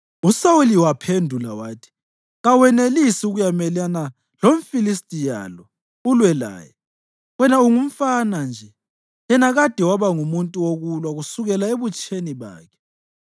USawuli waphendula wathi, “Kawanelisi ukuyamelana lomFilistiya lo ulwe laye; wena ungumfana nje, yena kade waba ngumuntu wokulwa kusukela ebutsheni bakhe.”